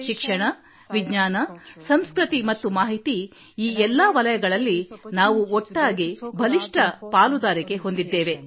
ಶಿಕ್ಷಣ ವಿಜ್ಞಾನ ಸಂಸ್ಕೃತಿ ಮತ್ತು ಮಾಹಿತಿ ಈ ಎಲ್ಲಾ ವಲಯಗಳಲ್ಲಿ ನಾವು ಒಟ್ಟಾಗಿ ಬಲವಾದ ಪಾಲುದಾರಿಕೆ ಹೊಂದಿದ್ದೇವೆ